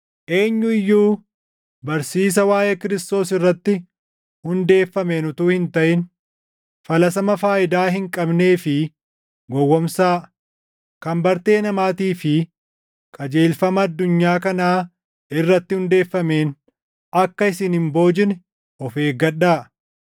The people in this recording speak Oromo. Eenyu iyyuu barsiisa waaʼee Kiristoos irratti hundeeffameen utuu hin taʼin falaasama faayidaa hin qabnee fi gowwoomsaa, kan bartee namaatii fi qajeelfama addunyaa kanaa irratti hundeeffameen akka isin hin boojine of eeggadhaa.